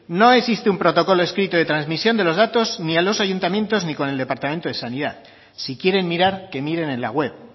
no existe un protocolo escrito de transmisión de los datos ni a los ayuntamientos ni con el departamento de sanidad si quieren mirar que miren en la web